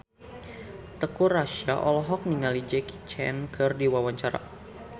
Teuku Rassya olohok ningali Jackie Chan keur diwawancara